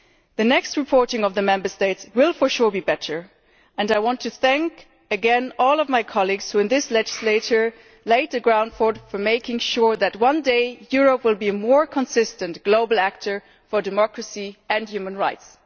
The next set of reports by the Member States will for sure be better, and I want to thank again all of my colleagues who in this legislature have laid the ground for making sure that, one day, Europe will be a more consistent global actor for democracy and human rights.